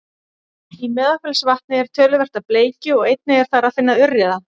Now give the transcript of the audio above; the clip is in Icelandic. í meðalfellsvatni er töluvert af bleikju og einnig er þar að finna urriða